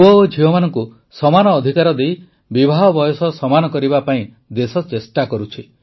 ପୁଅ ଓ ଝିଅମାନଙ୍କୁ ସମାନ ଅଧିକାର ଦେଇ ବିବାହ ବୟସ ସମାନ କରିବା ପାଇଁ ଦେଶ ଚେଷ୍ଟା କରୁଛି